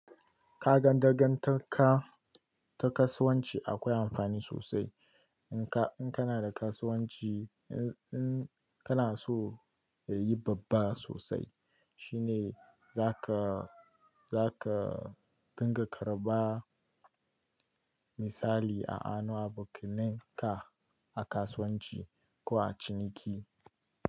Ka gan dagantaka ta kasuwanci akwai amfani sosai. In ka, in kana da kasuwanci, in, in kana so ya yi babba sosai shine za ka, za ka dinga karɓa misali a anuwa bukinne ka a kasuwanci ko a ciniki.